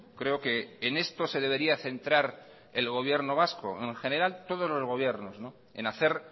creo que en esto se debería centrar el gobierno vasco en general todos los gobiernos en hacer